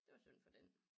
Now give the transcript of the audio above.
Det var synd for den